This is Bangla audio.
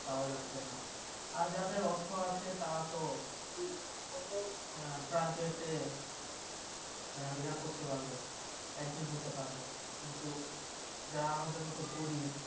পাওয়া যাচ্ছে না আর যাদের অর্থ আছে তারা তো আহ প্রায় ইয়া করতে পারবে admit হতে পারবে কিন্তু যারা আমাদের মতো গরিব